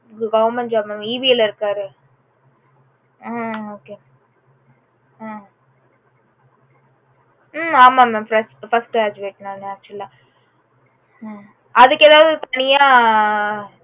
goverment job mamEB ல இருக்காரு mam hmm okay okay hmm hmm ஆமா mam first graduate actual ah அதுக்கு எதாவது தனியா